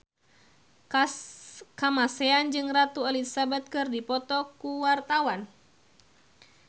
Kamasean jeung Ratu Elizabeth keur dipoto ku wartawan